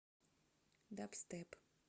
дабстеп